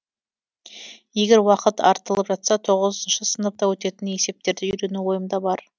егер уақыт артылып жатса тоғызыншы сыныпта өтетін есептерді үйрену ойымда бар